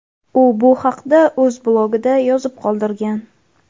U bu haqda o‘z blogida yozib qoldirgan.